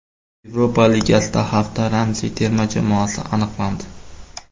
Yevropa Ligasida hafta ramziy terma jamoasi aniqlandi.